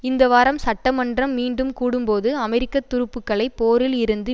இந்த வாரம் சட்ட மன்றம் மீண்டும் கூடும்போது அமெரிக்க துருப்புக்களை போரில் இருந்து